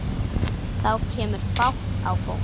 Þá kemur fát á fólk.